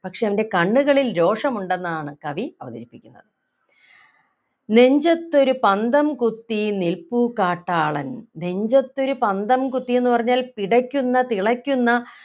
പക്ഷേ അവൻ്റെ കണ്ണുകളിൽ രോഷം ഉണ്ടെന്നാണ് കവി അവതരിപ്പിക്കുന്നത് നെഞ്ചത്തൊരു പന്തം കുത്തി നിൽപ്പു കാട്ടാളൻ നെഞ്ചത്തൊരു പന്തം കുത്തി എന്നു പറഞ്ഞാൽ പിടയ്ക്കുന്ന തിളയ്ക്കുന്ന